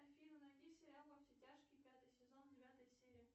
афина найди сериал во все тяжкие пятый сезон девятая серия